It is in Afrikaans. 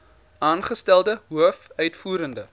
aangestelde hoof uitvoerende